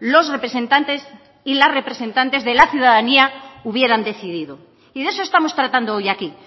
los representantes y las representantes de la ciudadanía hubieran decidido y de eso estamos tratando hoy aquí